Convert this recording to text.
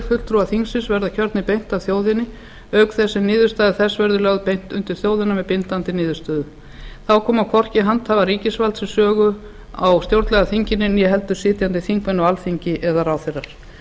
fulltrúar þingsins verða kjörnir beint af þjóðinni auk þess sem niðurstaða þess verður lögð beint undir þjóðina með bindandi niðurstöðu þá koma hvorki handhafar ríkisvalds við sögu á stjórnlagaþinginu né heldur sitjandi þingmenn á alþingi eða ráðherrar